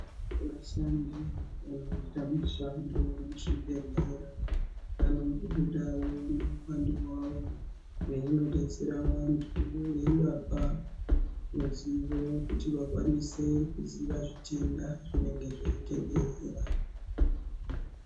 Vashandi vanoita mushando muzvibhehlera vanombobudawo neuwando hwavo veinodetsera vantu veivapa ruzivo kuti vakwanise kuziva zvitenda zvinenge zveitenderera.